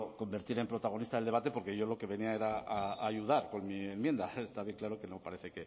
convertir en protagonista del debate porque yo lo que venía era a ayudar con mi enmienda está bien claro que no parece